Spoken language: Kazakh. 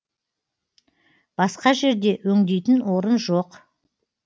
басқа жерде өңдейтін орын жоқ